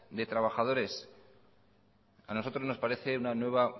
de trabajadores a nosotros nos parece una nueva